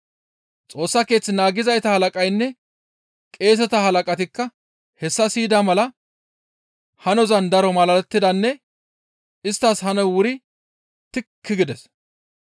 Xoossa Keeth naagizayta halaqaynne qeeseta halaqatikka hessa siyida mala hanozan daro malalettidanne isttas hanoy wuri tikki gides.